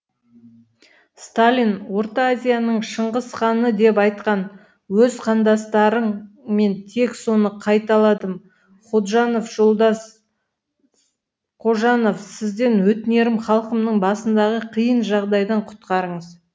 сталин орта азияның шыңғысханы деп айтқан өз қандастарың мен тек соны қайталадым ходжанов жолдас с қожанов сізден өтінерім халқымның басындағы қиын жағдайдан құтқарыңыз